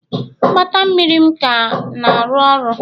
Mgbata mmiri m ka na-arụ ọrụ?